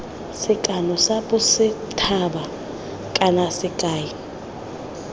sekano sa bosethaba kana sekai